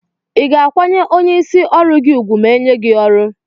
iga akwanye onye isi ọrụgi ugwu ma enye gi ọrụ?